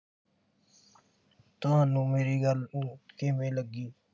ਤੁਹਾਨੂੰ ਮੇਰੀ ਗੱਲ ਕਿਵੇਂ ਲੱਗੀ